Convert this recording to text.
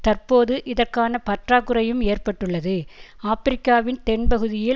தற்போது இதற்கான பற்றாக்குறையும் ஏற்பட்டுள்ளது ஆபிரிக்காவின் தென் பகுதியில்